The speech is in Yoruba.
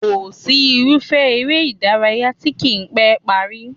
Kò sí irúfẹ́ eré ìdárayá tí kì í pẹ́ parí